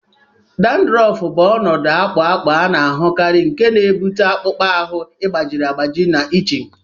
Dandruff bụ ọnọdụ akpụ akpụ a na-ahụkarị nke na-ebute akpụkpọ ahụ gbajiri agbaji na itching.